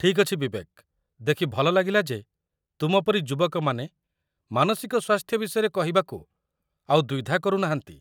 ଠିକ୍ ଅଛି ବିବେକ, ଦେଖି ଭଲ ଲାଗିଲା ଯେ ତୁମ ପରି ଯୁବକମାନେ ମାନସିକ ସ୍ୱାସ୍ଥ୍ୟ ବିଷୟରେ କହିବାକୁ ଆଉ ଦ୍ୱିଧା କରୁ ନାହାନ୍ତି।